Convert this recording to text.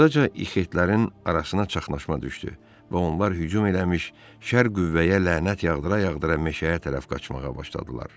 Burdaca ixitlərin arasına çaxnaşma düşdü və onlar hücum eləmiş şər qüvvəyə lənət yağdıra-yağdıra meşəyə tərəf qaçmağa başladılar.